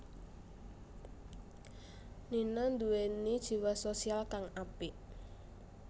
Nina nduwèni jiwa sosial kang apik